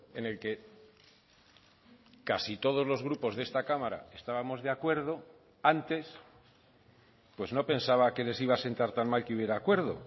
en el que casi todos los grupos de esta cámara estábamos de acuerdo antes pues no pensaba que les iba a sentar tan mal que hubiera acuerdo